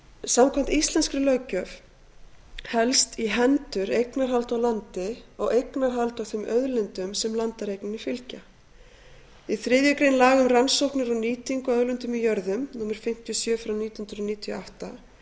samkvæmt íslenskri löggjöf helst í hendur eignarhald á landi og eignarhald á þeim auðlindum sem landareigninni fylgja í þriðju grein laga um rannsóknir og nýtingu á auðlindum í jörðu númer fimmtíu og sjö frá nítján hundruð níutíu og átta